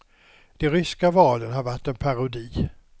De ryska valen har varit en parodi.